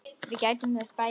Við gættum þess bæði.